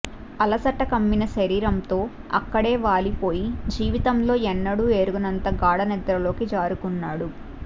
అలసట కమ్మిన శరీరంతో అక్కడే వాలిపోయి జీవితంలో ఎన్నడూ ఎరుగనంత గాఢనిద్రలోకి జారుకున్నాడు